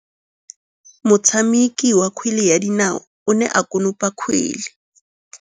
Motshameki wa kgwele ya dinaô o ne a konopa kgwele.